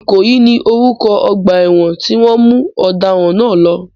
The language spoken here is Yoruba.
Ìkòyí ni orúkọ ọgbà ẹ̀wọ̀n tí wọ́n mú ọ̀daràn náà lọ.